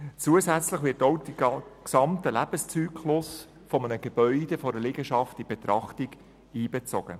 Zusätzlich wird auch der gesamte Lebenszyklus eines Gebäudes oder einer Liegenschaft in die Betrachtung einbezogen.